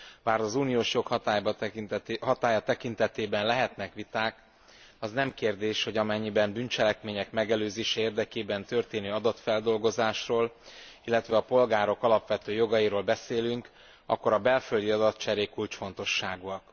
Bár az uniós jog hatálya tekintetében lehetnek viták, az nem kérdés, hogy amennyiben bűncselekmények megelőzése érdekében történő adatfeldolgozásról, illetve a polgárok alapvető jogairól beszélünk, akkor a belföldi adatcserék kulcsfontosságúak.